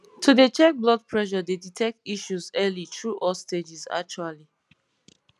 to dey check blood pressure dey detect issues early through all stages actually